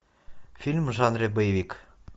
фильм в жанре боевик